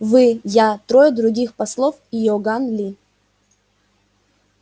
вы я трое других послов и иоганн ли